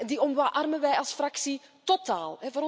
Die omarmen wij als fractie totaal.